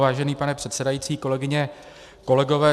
Vážený pane předsedající, kolegyně, kolegové.